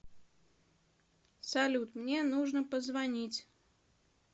салют мне нужно позвонить